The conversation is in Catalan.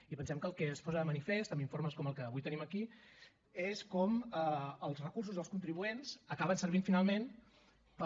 i pensem que el que es posa de manifest amb informes com el que avui tenim aquí és com els recursos dels contribuents acaben servint finalment per